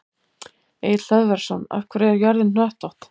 Egill Hlöðversson: Af hverju er jörðin hnöttótt?